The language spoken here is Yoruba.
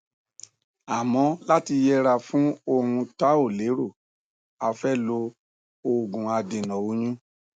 àmọ láti yẹra fún ohun tá ò lérò a fẹ lo òògùadènà oyún